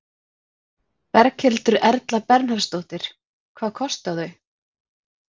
Berghildur Erla Bernharðsdóttir: Hvað kosta þau?